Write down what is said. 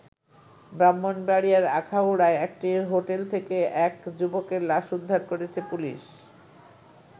ব্রাহ্মণবাড়িয়ার আখাউড়ায় একটি হোটেল থেকে এক যুবকের লাশ উদ্ধার করেছে পুলিশ।